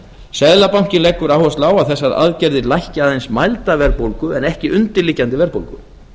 seðlabankinn leggur áherslu á að þessar aðgerðir lækki aðeins mælda verðbólgu en ekki undirliggjandi verðbólgu